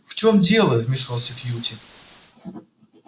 в чем дело вмешался кьюти